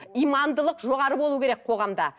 имандылық жоғары болу керек қоғамда